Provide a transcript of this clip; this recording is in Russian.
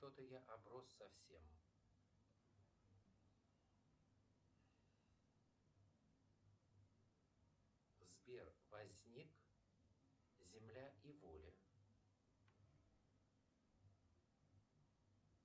что то я оброс совсем сбер возник земля и воля